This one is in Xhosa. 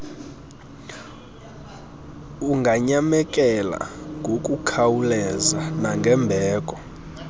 unganyamekela kngokukhawuleza nangembeko